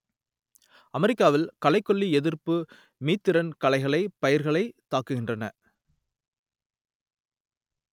அமெரிக்காவில் களைக்கொல்லி எதிர்ப்பு மீத்திறன் களைகள் பயிர்களைத் தாக்குகின்றன